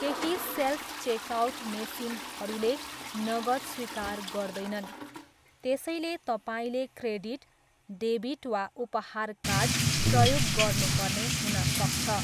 केही self checkout मेसिनहरूले नगद स्वीकार गर्दैनन् त्यसैले तपाईँले क्रेडिट, डेबिट वा उपहार कार्ड प्रयोग गर्नुपर्ने हुन सक्छ।